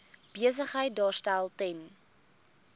besigheid daarstel ten